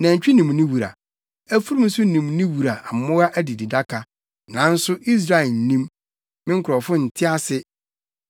Nantwi nim ne wura, afurum nso nim ne wura mmoa adididaka, nanso Israel nnim, me nkurɔfo nte ase.”